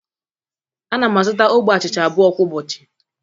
Ana m azụta ogbe achịcha abụọ kwa ụbọchị